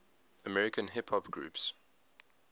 american hip hop groups